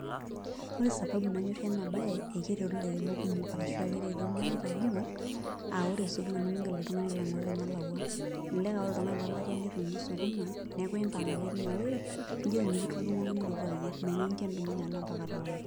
Ore sababu nanyorie enabae akeretu lairemok kumok arashu akeretu irmareita kumok aa ore nimintoki oltungani alo aingoru tenelakwa elelek aa ore oltungani lelatia nitumie sukuma neaku impang ake tinewueji nijoki mikitudungoki nilotu ayier menyanyikie nilotu mpaka taun.